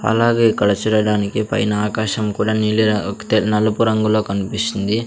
అలాగే ఇక్కడ చూడటానికి పైన ఆకాశం కూడా నీలి ర తెల్ నలుపు రంగులో కనిపిస్తుంది.